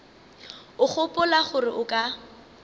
o gopola gore o ka